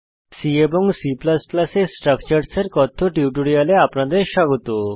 C এবং C এ structures এর কথ্য টিউটোরিয়ালে আপনাদের স্বাগত